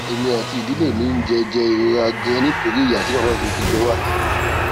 èmi àti ìdílé mi ń jẹ jẹ ìrora ganan nítorí ìyà tí màmá mi fi jẹ wá